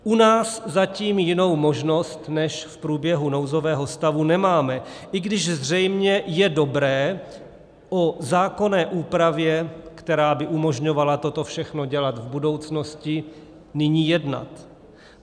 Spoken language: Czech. U nás zatím jinou možnost než v průběhu nouzového stavu nemáme, i když zřejmě je dobré o zákonné úpravě, která by umožňovala toto všechno dělat v budoucnosti, nyní jednat.